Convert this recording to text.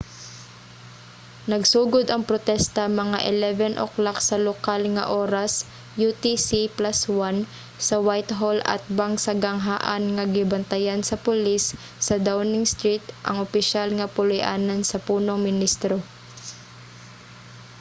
nagsugod ang protesta mga 11:00 sa lokal nga oras utc+1 sa whitehall atbang sa ganghaan nga gibantayan sa pulis sa downing street ang opisyal nga puluy-anan sa punong ministro